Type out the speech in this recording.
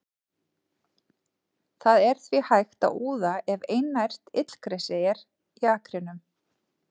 Það er því hægt að úða ef einært illgresi er í akrinum.